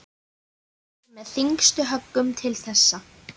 Þetta var með þyngstu höggunum til þessa.